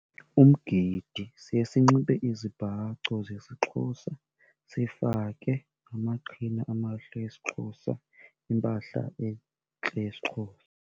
Umgidi, siye sinxibe izibhaco zesiXhosa, sifake amaqhina amahle esiXhosa, impahla entle yesiXhosa.